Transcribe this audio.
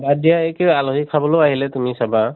বাদ দিয়া এইটো আলহী খাবলৈও আহিলে তুমি চাবা